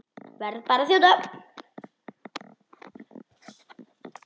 Verð bara að þjóta!